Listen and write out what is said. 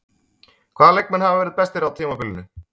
Hvaða leikmenn hafa verið bestir á tímabilinu?